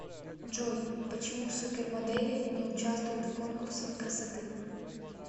джой почему супермодели не участвуют в конкурсах красоты